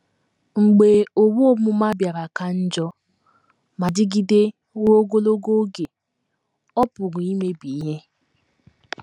Mgbe owu ọmụma bịara ka njọ ma dịgide ruo ogologo oge, ọ pụrụ imebi ihe.